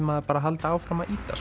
maður bara að halda áfram að ýta